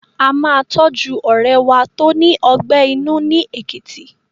A máa tọ́jú ọ̀rẹ́ wa tó ní ọgbẹ́ inú ni Èkìtì.